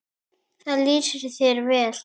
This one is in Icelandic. Það lýsir þér vel.